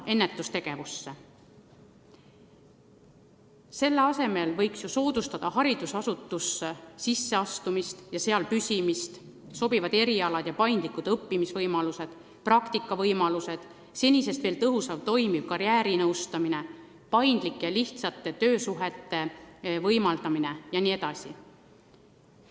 Võiks soodustada haridusasutustesse sisseastumist ja seal püsimist, käivitada uusi erialasid ja pakkuda paindlikke õppimise ja praktika võimalusi, tõhusamat ja tõesti toimivat karjäärinõustamist, võimaldada paindlikke ja lihtsaid töösuhteid jne.